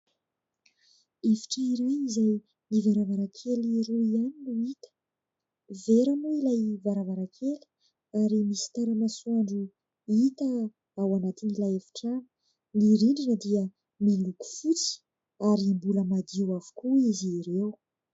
Efitra iray izay ny varavarankely roa ihany no hita. Vera moa ilay varavarankely ary misy tara-masoandro hita ao anatiny'ilay efi-trano ; ny rindrina dia miloko fotsy ary mbola madio avokoa izy ireo.